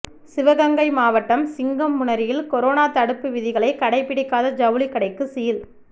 சிவகங்கை மாவட்டம் சிங்கம்புணரியில் கொரோனா தடுப்பு விதிகளை கடைப்பிடிக்காத ஜவுளி கடைக்கு சீல்